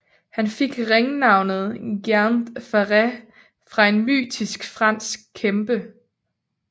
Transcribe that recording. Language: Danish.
Han fik ringnavnet Géant Ferré fra en mytisk fransk kæmpe